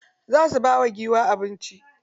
Za su ba wa giwa abinci.